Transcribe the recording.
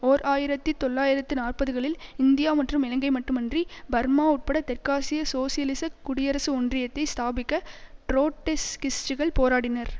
ஓர் ஆயிரத்தி தொள்ளாயிரத்து நாற்பதுகளில் இந்தியா மற்றும் இலங்கை மட்டுமன்றி பர்மா உட்பட தெற்காசிய சோசியலிசக் குடியரசு ஒன்றியத்தை ஸ்தாபிக்க ட்ரொட்டிஸ்கிஸ்ட்டுகள் போராடினர்